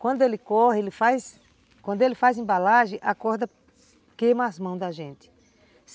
Quando ele corre, ele faz, quando ele faz embalagem, a corda queima as mãos da gente.